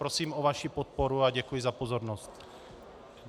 Prosím o vaši podporu a děkuji za pozornost.